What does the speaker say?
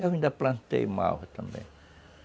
Eu ainda plantei malva também.